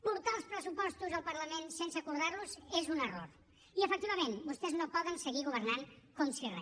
portar els pressupostos al parlament sense acordar los és un error i efectivament vostès no poden seguir governant com si re